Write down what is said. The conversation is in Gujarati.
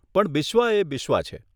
પણ બિશ્વા એ બિશ્વા છે.